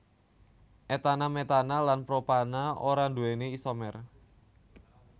etana metana lan propana ora nduwéni isomer